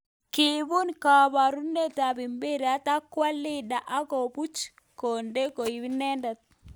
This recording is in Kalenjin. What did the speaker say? Kibun komboret ap mpiret akwo Leander ak komuch konde ko inendet.